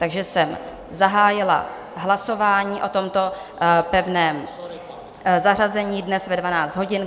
Takže jsem zahájila hlasování o tomto pevném zařazení dnes ve 12 hodin.